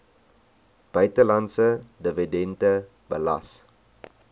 buitelandse dividende belas